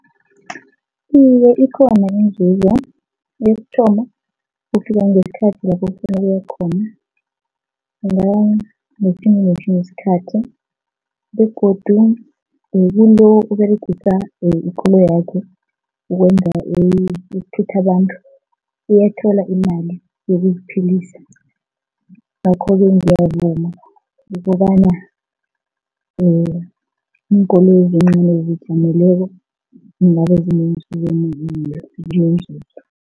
Iye, ikhona inzuzo. Yokuthoma, ufika ngesikhathi lapho ofuna ukuya khona isikhathi begodu umuntu oberegisa ikoloyakhe ukwenza ukuthutha abantu uyathola imali yokuziphilisa ngakho-ke ngiyavuma ukobana iinkoloyi ezincani ezizijameleko